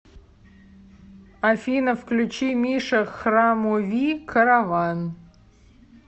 афина включи миша храмови караван